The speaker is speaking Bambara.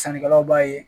Sannikɛlaw b'a ye